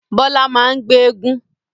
Bọlá máa ń gbé éégún